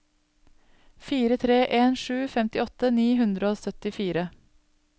fire tre en sju femtiåtte ni hundre og syttifire